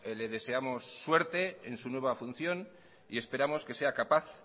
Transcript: le deseamos suerte en su nueva función y esperamos que sea capaz